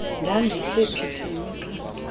ndandithe phithi yimixhentso